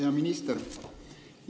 Hea minister!